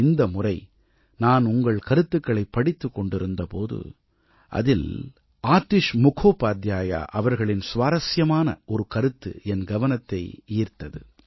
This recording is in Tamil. இந்த முறை நான் உங்கள் கருத்துக்களைப் படித்துக் கொண்டிருந்த போது அதில் ஆதிஷ் முகோபாத்யாயா அவர்களின் சுவாரசியமான ஒரு கருத்து என் கவனத்தை ஈர்த்தது